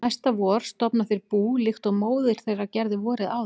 Næsta vor stofna þær bú líkt og móðir þeirra gerði vorið áður.